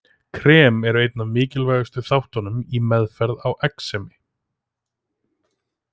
Krem eru einn af mikilvægustu þáttunum í meðferð á exemi.